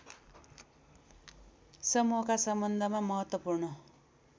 समूहका सम्बन्धमा महत्त्वपूर्ण